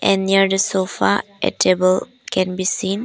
And near the sofa a table can be seen.